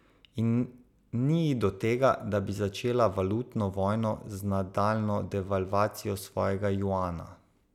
In ni ji do tega, da bi začela valutno vojno z nadaljnjo devalvacijo svojega juana.